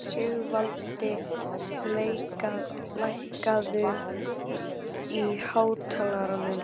Sigvaldi, lækkaðu í hátalaranum.